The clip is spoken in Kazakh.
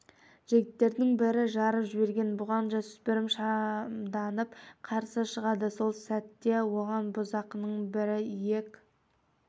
жігіттердің бірі жарып жіберген бұған жасөспірім шамданып қарсы шығады сол сәтте оған бұзақының бірі иек